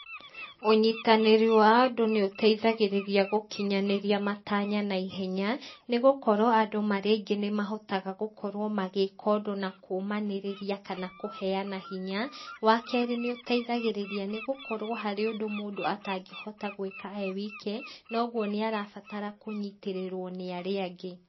Ũnyitanĩri wa andu nĩ ũteithagĩrĩria gũkinyanĩria matanya naihenya, nĩ gũkorwo andũ marĩaingĩ nĩ mahotaga gũkorwo magĩka ũndũ na kũmanĩrĩria, kana kũheyana hinya, wa kerĩ nĩ ũteithagĩrĩria nĩgũkorwo harĩ ũndũ mũndũ atangĩhota gwĩka ewike, noguo nĩarabatara kũnyitĩrĩrwo nĩarĩa angĩ.